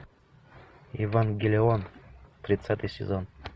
евангелион тридцатый сезон